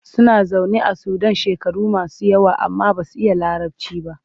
Suna zaune a Sudan shekaru masu yawa amma ba su iya Larabci ba.